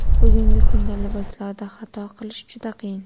Bugungi kunda liboslarda xato qilish juda qiyin.